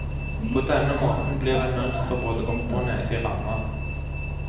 På denne måten blir det mønster både oppe og nede i ramma.